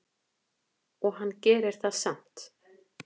En hann gerir það samt.